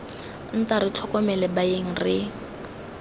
nta re tlhokomele baeng re